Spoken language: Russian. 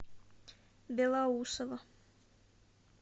белоусово